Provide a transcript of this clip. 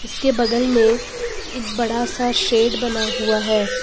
इसके बगल मेें एक बड़ा सा शेड बना हुआ है।